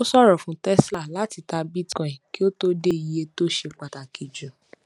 ó ṣòro fún tesla láti ta bitcoin kí ó tó dé iye tó ṣe pàtàkì jù